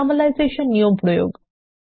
normalisation নিয়ম প্রয়োগ